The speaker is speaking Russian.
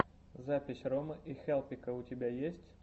запись ромы и хелпика у тебя есть